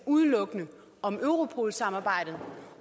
udelukkende om europol samarbejdet